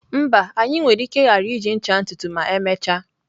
Mba, anyị nwere ike ghara iji ncha ntutu ma emechaa.